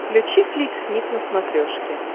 включи флик снип на смотрешке